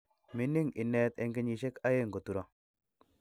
Mining inet eng kenyishek aeng koturo